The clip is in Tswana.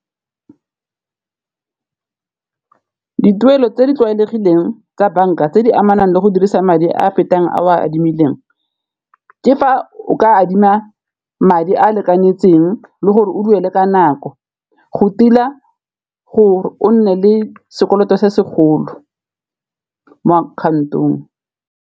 Dituelo tse di tlwaelegileng tsa banka tse di amanang le go dirisa madi a a fetang a o a adimileng, ke fa o ka adima madi a lekanyeditseng le gore o duele ka nako, go tila gore o nne le sekoloto se segolo mo akhaontong.